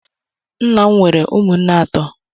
Nna'm wéré umunna atọ.